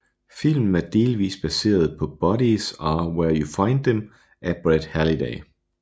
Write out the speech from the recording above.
Filmen er delvist baseret på Bodies Are Where You Find Them af Brett Halliday